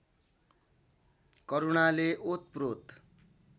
करुणाले ओतप्रोत